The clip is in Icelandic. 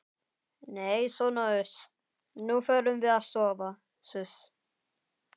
Nei sona uss, nú förum við að sofa suss.